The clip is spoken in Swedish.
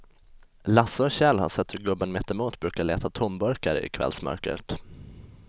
Lasse och Kjell har sett hur gubben mittemot brukar leta tomburkar i kvällsmörkret.